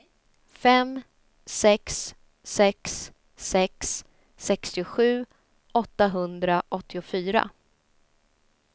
fem sex sex sex sextiosju åttahundraåttiofyra